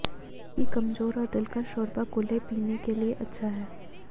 बल्कि कमजोर और दिलकश शोरबा कूल्हों पीने के लिए अच्छा है